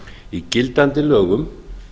í gildandi lögum